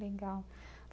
Legal.